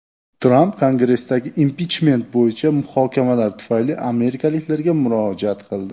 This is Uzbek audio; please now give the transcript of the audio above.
Tramp Kongressdagi impichment bo‘yicha muhokamalar tufayli amerikaliklarga murojaat qildi .